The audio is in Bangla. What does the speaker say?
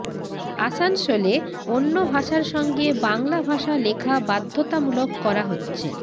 আসানসোলে অন্য ভাষার সঙ্গে বাংলা ভাষা লেখা বাধ্যতামূলক করা হচ্ছে